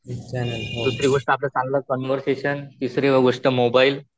दुसरी गोष्ट आपलं चांगलं कॉन्व्हरसेशन, तिसरी गोष्ट मोबाइल